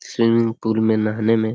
swimming pool में नहाने में--